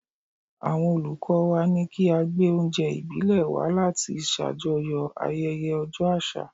Àwọn Olùkọ́ọ wa ní kí a gbé oúnjẹ ìbílẹ̀ wá láti ṣàjọyọ̀ ayẹyẹ ọjọ́ àṣà.